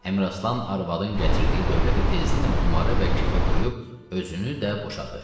Əmiraslan arvadın gətirdiyi dövləti tezliklə qumarı və kefə qoyub özünü də boşadı.